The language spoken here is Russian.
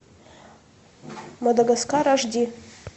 мадагаскар аш ди